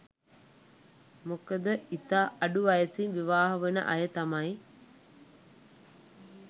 මොකද ඉතා අඩු වයසෙන් විවාහ වන අය තමයි